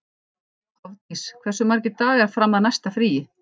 Hofdís, hversu margir dagar fram að næsta fríi?